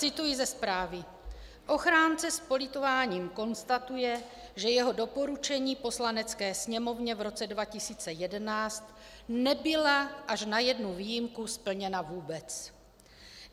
Cituji ze zprávy: "Ochránce s politováním konstatuje, že jeho doporučení Poslanecké sněmovně v roce 2011 nebyla až na jednu výjimku splněna vůbec.